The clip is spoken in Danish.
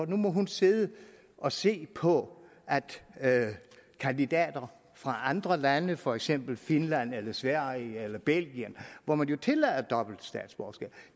nu må hun sidde og se på at kandidater fra andre lande for eksempel finland eller sverige eller belgien hvor man jo tillader dobbelt statsborgerskab